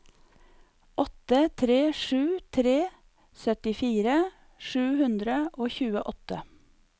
åtte tre sju tre syttifire sju hundre og tjueåtte